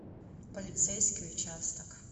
полицейский участок